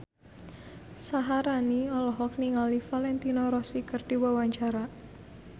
Syaharani olohok ningali Valentino Rossi keur diwawancara